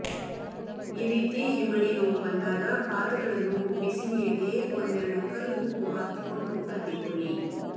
ಈ ರೀತಿ ಹಿಮ್ಮಡಿ ನೋವು ಬಂದಾಗ ಪಾದಗಳನ್ನು ಬಿಸಿ ನೀರಿಗೆ ಒಂದೆರಡು ಕಲ್ಲು ಉಪ್ಪು ಹಾಕಿಕೊಂಡು ಅದ್ದಿಕೊಳ್ಳಿ